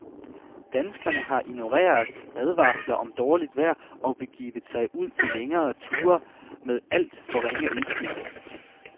Danskerne har ignoreret advarsler om dårligt vejr og begivet sig ud på længere ture med alt for ringe udstyr.